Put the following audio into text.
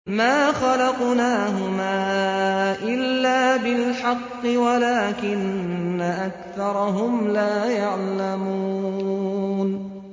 مَا خَلَقْنَاهُمَا إِلَّا بِالْحَقِّ وَلَٰكِنَّ أَكْثَرَهُمْ لَا يَعْلَمُونَ